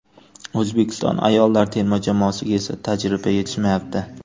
O‘zbekiston ayollar terma jamoasiga esa tajriba yetishmayapti.